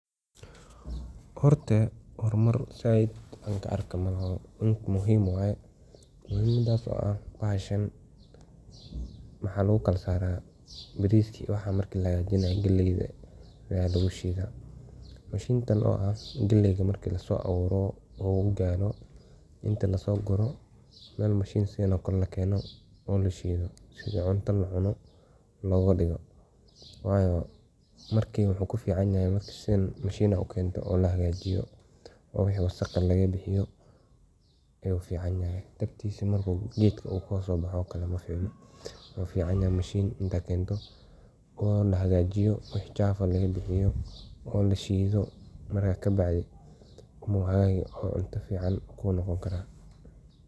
Waa mashiin muhiim ah oo loo isticmaalo si loo shafo hilibka galley oo loo sameeyo bur ama dhadhaab, gaar ahaan goobaha qaarada Afrika ee ay ku badan yihiin beeraleyda yaryar ee ku tiirsan beerashada iyo iskaashiga xoolaha, sida Kenya, Uganda, Tanzania, iyo Ethiopia, halkaas oo ay dadku u baahan yihiin inay sameeyaan cuntooyin fudud oo ka samaysan galley, taas oo ay ku maalgalaan qoysaskooda maalintii, waxaana muhiim ah in noqdo mid aad u firfircoon oo aan laga yaabin inuu jebyo si ay u qanciso baahida dadweynaha.